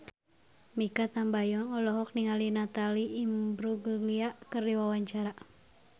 Mikha Tambayong olohok ningali Natalie Imbruglia keur diwawancara